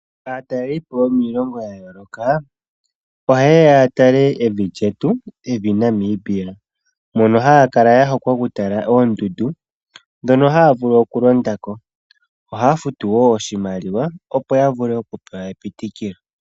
Aatalelipo yomiilongo ya yooloka oha yeya ya tale evi lyetu, evi Namibia. Mono haa kala ya hokwa okutala oondundu ndhono haa vulu okulonda ko. Ohaa futu wo oshimaliwa opo ya vule okupewa epitikilo.